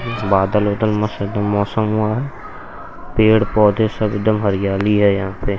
बादल वादल मस्त एकदम मौसम हुआ है पेड़ पौधे सब एकदम हरियाली है यहाँ पे।